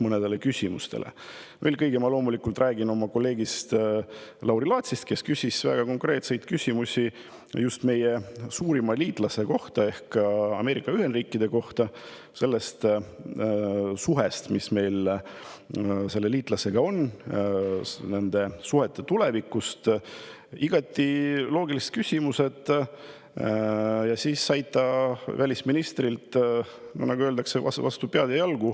Eelkõige räägin loomulikult sellest, et minu kolleeg Lauri Laats küsis väga konkreetseid küsimusi just meie suurima liitlase ehk Ameerika Ühendriikide kohta, nende suhete kohta, mis meil selle liitlasega on, ja nende suhete tuleviku kohta, igati loogilised küsimused, aga siis ta sai välisministrilt, nagu öeldakse, vastu pead ja jalgu.